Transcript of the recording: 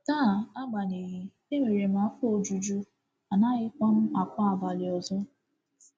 *“Taa, agbanyeghị, e nwere m afọ ojuju, anaghịkwa m akwa abalị ọzọ.